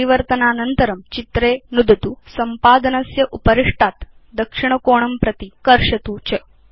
परिवर्तनानन्तरं चित्रे नुदतु संपादनस्य उपरिष्टात् दक्षिणकोणं प्रति कर्षतु च